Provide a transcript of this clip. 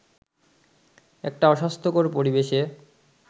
একটা অস্বাস্থ্যকর পরিবেশে